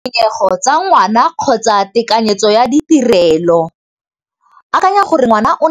Tshwenyego tsa ngwana kgotsa tekanyetso ya ditirelo, akanya gore ngwana o